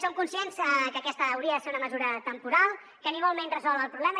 som conscients que aquesta hauria de ser una mesura temporal que ni molt menys resol el problema